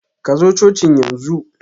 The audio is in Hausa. Kazo cocin yanzu!